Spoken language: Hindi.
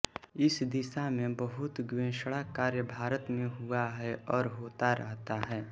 इस दिशा में बहुत गवेषणा कार्य भारत में हुआ है और होता रहता है